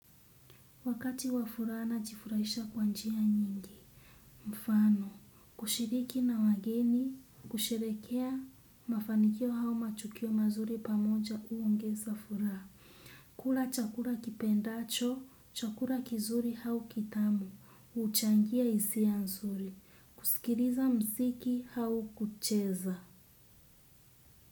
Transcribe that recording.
Wakati wa furaha najifurahisha kwa njia nyingi, mfano, kushiriki na wageni, kusherekea, mafanikio hau matukio mazuri pamoja uongeza furaha. Kula chakula kipendacho, chakula kizuri hau kitamu, huchangia hisia nzuri, kusikiriza muziki hau kucheza.